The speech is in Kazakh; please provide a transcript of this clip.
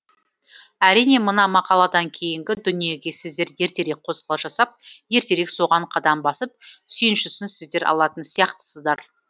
әрине мына мақаладан кейінгі дүниеге сіздер ертерек қозғалыс жасап ертерек соған қадам басып сүйіншісін сіздер алатын сияқтысыздар